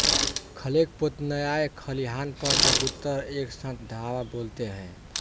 खलेकपोतन्याय खलिहान पर कबूतर एक साथ धावा बोलते हैं